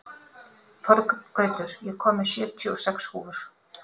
Þorgautur, ég kom með sjötíu og sex húfur!